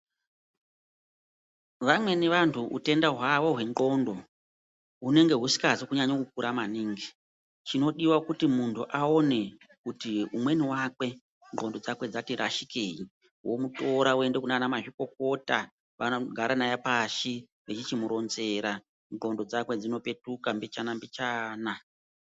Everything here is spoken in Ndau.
Vamweni vantu utenda hwavo hwendxondo hunenge husikazi kunyanya kukura maningi chinodiwa kuti umweni wakwe ndxondo dzake dzati rashikei womutora oenda naye kunana mazvikokota vanogara naye pashi veichimuronzera ndxondo dzakwe dzinopetuka mbichana mbichana.